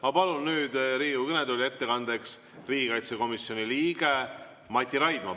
Ma palun nüüd Riigikogu kõnetooli ettekandeks riigikaitsekomisjoni liikme Mati Raidma.